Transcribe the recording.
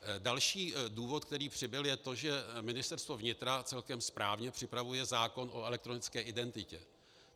Další důvod, který přibyl, je to, že Ministerstvo vnitra celkem správně připravuje zákon o elektronické identitě.